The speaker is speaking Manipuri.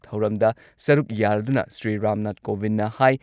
ꯊꯧꯔꯝꯗ ꯁꯔꯨꯛ ꯌꯥꯔꯗꯨꯅ ꯁ꯭ꯔꯤ ꯔꯥꯝꯅꯥꯊ ꯀꯣꯕꯤꯟꯗꯅ ꯍꯥꯏ